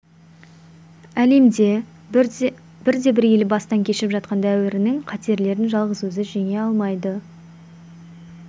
әлемде бірде-бір ел бастан кешіп жатқан дәуірінің қатерлерін жалғыз өзі жеңе алмайды